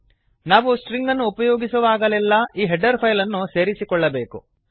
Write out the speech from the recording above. ನಾವು ಸ್ಟ್ರಿಂಗ್ ಅನ್ನು ಉಪಯೋಗಿಸುವಾಗಲೆಲ್ಲ ಈ ಹೆಡರ್ ಫೈಲ್ ಅನ್ನು ಸೇರಿಸಿಕೊಳ್ಳಬೇಕು